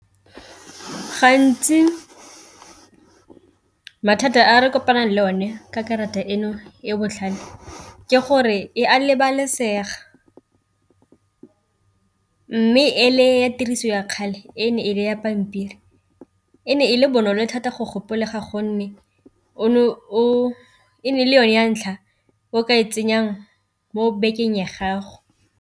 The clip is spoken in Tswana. Gantsi mathata a re kopanang le one ka karata eno e botlhale ke gore e a lebalesega, mme e le ya tiriso ya kgale e ne e le ya pampiri e ne e le bonolo thata go gopola ga gonne e ne e le yone ya ntlha o ka e tsenyang mo bakeng ya gago.